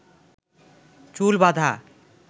চুল বাধা